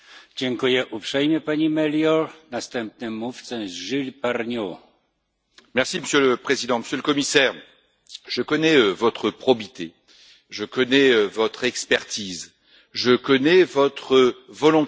Monsieur le Président, Monsieur le Commissaire, je connais votre probité, je connais votre expertise, je connais votre volonté, car nous travaillons ensemble, de protéger la santé des Européennes et des Européens.